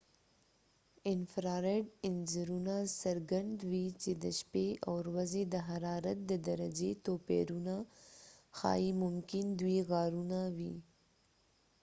انفراریډ انځورونه څرګندوي چې د شپې او ورځې د حرارت د درجې توپیرونه ښایي ممکن دوۍ غارونه وي